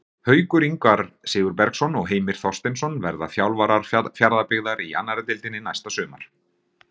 Haukur Ingvar Sigurbergsson og Heimir Þorsteinsson verða þjálfarar Fjarðabyggðar í annarri deildinni næsta sumar.